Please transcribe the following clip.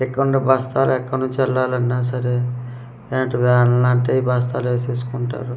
ఇక్కడ ఉండే బస్తాలు ఎక్కనుంచి వెళ్లాలన్నా సరే వేల్నట్టే ఈ బస్తాలేసేస్కుంటారు.